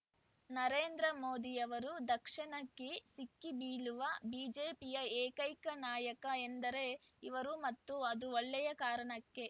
ನರೇಂದ್ರ ಮೋದಿಯವರು ದಾಕ್ಷಿಣ್ಯಕ್ಕೆ ಸಿಕ್ಕಿಬೀಳುವ ಬಿಜೆಪಿಯ ಏಕೈಕ ನಾಯಕ ಎಂದರೆ ಇವರು ಮತ್ತು ಅದು ಒಳ್ಳೆಯ ಕಾರಣಕ್ಕೆ